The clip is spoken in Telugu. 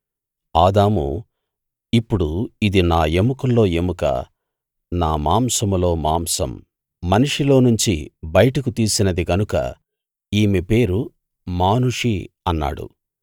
ఆదాము ఇప్పుడు ఇది నా ఎముకల్లో ఎముక నా మాంసంలో మాంసం మనిషిలోనుంచి బయటకు తీసినది గనుక ఈమె పేరు మానుషి అన్నాడు